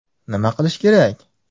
Nima qilish kerak?.